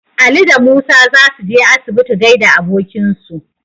Ali da Musa za su je asibiti gaida abokinsu.